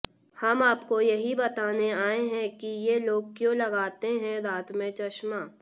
हम आपको यही बताने आये हैं कि ये लोग क्यों लगाते है रात में चश्मा